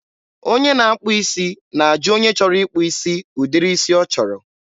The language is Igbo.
onye na-akpụ isi na-ajụ onye chọrọ ịkpụ isi ụdịrị isi ọ chọrọ.